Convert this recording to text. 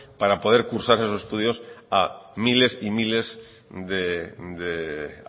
para poder cursar esos estudios a miles y miles de